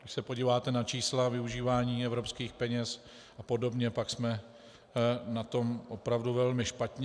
Když se podíváte na čísla využívání evropských peněz a podobně, tak jsme na tom opravdu velmi špatně.